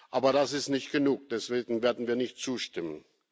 Aber das ist nicht genug deswegen werden wir nicht zustimmen.